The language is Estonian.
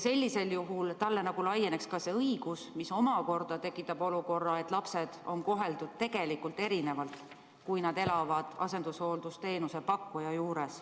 Sellisel juhul talle nagu laieneks see õigus, mis omakorda tekitab olukorra, et lapsed on koheldud tegelikult erinevalt, kui nad elavad asendushooldusteenuse pakkuja juures.